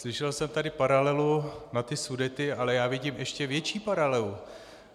Slyšel jsem tady paralelu na ty Sudety, ale já vidím ještě větší paralelu.